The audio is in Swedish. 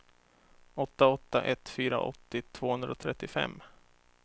åtta åtta ett fyra åttio tvåhundratrettiofem